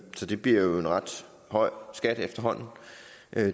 så det bliver jo en ret høj skat efterhånden